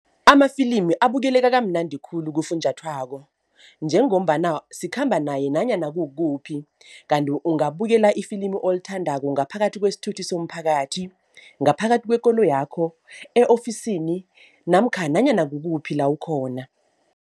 Amafilimi abukeleka kamnandi khulu kufunjathwako njengombana sikhamba naye nanyana kukuphi. Kanti ungabukela ifilimu olithandako ngaphakathi kwesithuthi somphakathi, ngaphakathi kwekoloyakho, e-ofisini namkha nanyana kukuphi la ukhona.